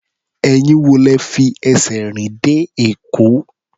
Ẹ̀yin wo lẹ fi ẹsẹ̀ rìn dé Èkó?